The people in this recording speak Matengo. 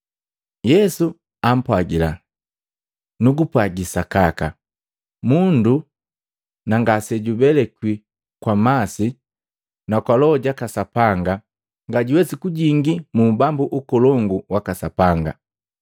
Yesu ampwagila, “Nugupwagi sakaka, mundu na ngasejubelikwi kwa masi na Loho jaka Sapanga, ngajuwesi kujingi mu ubambu ukolongu waka Sapanga.